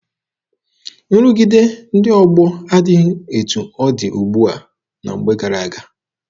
Nrụgide ndị ọgbọ adịghị etu ọ dị ugbua na mgbe gara aga.